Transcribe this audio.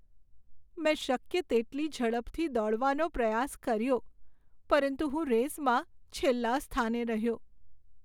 મેં શક્ય તેટલી ઝડપથી દોડવાનો પ્રયાસ કર્યો પરંતુ હું રેસમાં છેલ્લા સ્થાને રહ્યો.